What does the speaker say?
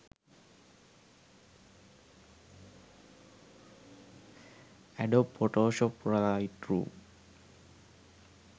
adobe photoshop lightroom